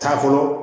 K'a fɔ